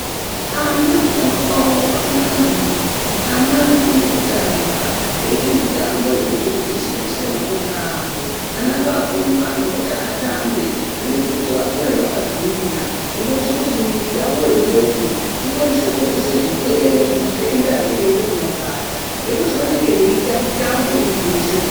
Ana kutamba kwavo kwakanaka maningi ana anofana kutamba eiite mitambo inoite kuti isimbise makodo avo. Ana ngavapuve mukana vekuti atambe zvinoite kuti vakure vakagwinya. Zvinote kuti mwiri yavo yoyoyo ikwanise kurwise zvirwere zvimatenda anenge eida kuvabata. Ngekuti vanenge veiita mitambo inogwinyisa mwiri.